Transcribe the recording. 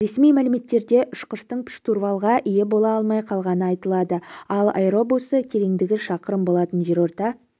ресми мәліметтерде ұшқыштың штурвалға ие бола алмай қалғаны айтылады ал аэробусы тереңдігі шақырым болатын жерорта